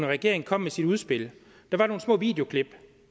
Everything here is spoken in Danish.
regering kom med sit udspil var der nogle små videoklip